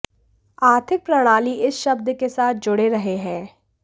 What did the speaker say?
आर्थिक प्रणाली इस शब्द के साथ जुड़े रहे हैं